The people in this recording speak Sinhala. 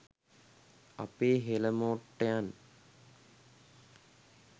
අපේ හොලමොට්ටයන්